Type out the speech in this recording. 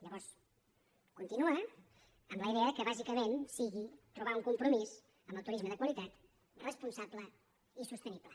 llavors continua amb la idea que bàsicament sigui trobar un compromís amb el turisme de qualitat responsable i sostenible